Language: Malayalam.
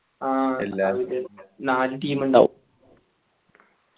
ആ നാല് team ഇണ്ടാവും